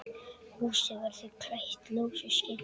Húsið verður klætt ljósu sinki.